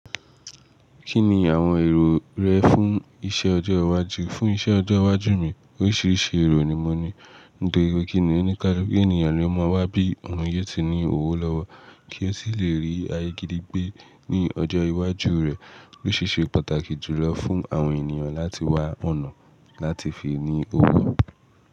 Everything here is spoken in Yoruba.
Kí ni àwọn èrò rẹ fún iṣẹ́ ọjọ́ iwájú? Fún iṣẹ́ ọjọ́ iwájú mi, oríṣiríṣi èrò ni mo ní. Nítorí pé kí nìkan onikaluku ènìyàn lo máa wá bí òun yóò ti ní owó lọ́wọ́ kí ó sì lè rí ayé gidi gbé ní ọjọ́ iwájú rẹ̀. Ó ṣi é ṣe pàtàkì jùlọ fún àwọn ènìyàn láti wá ọ̀nà láti fi ní owó.